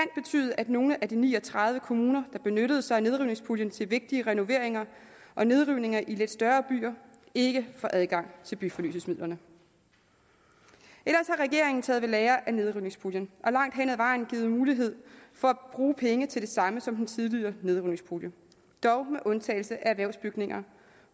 at nogle af de ni og tredive kommuner der benyttede sig af nedrivningspuljen til vigtige renoveringer og nedrivninger i lidt større byer ikke får adgang til byfornyelsesmidlerne ellers har regeringen taget ved lære af nedrivningspuljen og langt hen ad vejen givet mulighed for at bruge penge til det samme som den tidligere nedrivningspulje dog med undtagelse af erhvervsbygninger